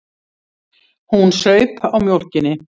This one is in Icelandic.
Hún saup á mjólkinni.